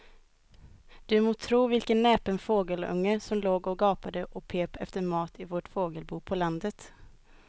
Du må tro vilken näpen fågelunge som låg och gapade och pep efter mat i vårt fågelbo på landet.